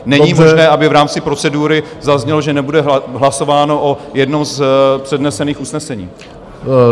Není možné, aby v rámci procedury zaznělo, že nebude hlasováno o jednom z přednesených usnesení.